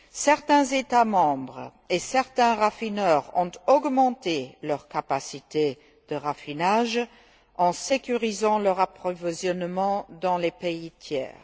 Certains États membres et certains raffineurs ont augmenté leurs capacités de raffinage en sécurisant leur approvisionnement dans les pays tiers.